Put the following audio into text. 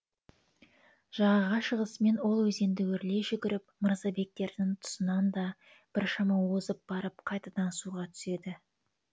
жағаға шығысымен ол өзенді өрлей жүгіріп мырзабектердің тұсынан да біршама озып барып қайтадан суға түседі